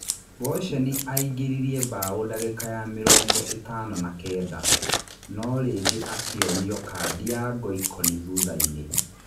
Boceni aingĩririe mbaũ ndagĩka ya mĩrongo-ĩtano na kenda, no rĩngĩ akĩonio kandi ya ngoikoni thuthainĩ.